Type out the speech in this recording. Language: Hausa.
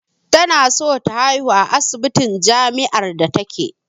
Tana so ta haihu a asibitin jamiár da take